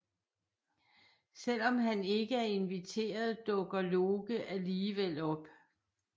Selvom han ikke er inviteret dukker Loke alligevel op